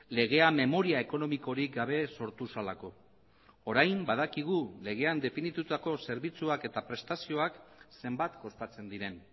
legea memoria ekonomikorik gabe sortu zelako orain badakigu legean definitutako zerbitzuak eta prestazioak zenbat kostatzen diren